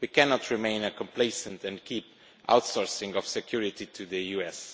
We cannot remain complacent and keep outsourcing security to the US.